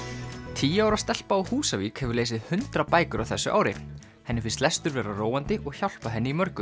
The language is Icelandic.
tíu ára stelpa á Húsavík hefur lesið hundrað bækur á þessu ári henni finnst lestur vera róandi og hjálpa henni í mörgu